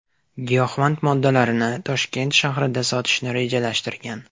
giyohvand moddalarini Toshkent shahrida sotishni rejalashtirgan.